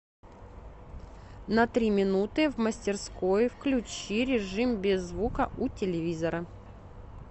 на три минуты в мастерской включи режим без звука у телевизора